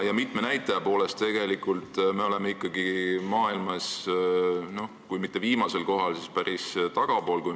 Ja mitme näitaja poolest oleme maailmas kui mitte viimasel kohal, siis päris tagapool.